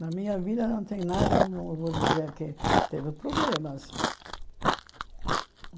Na minha vida não tem nada, não vou dizer, que teve problemas.